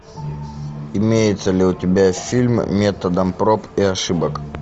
имеется ли у тебя фильм методом проб и ошибок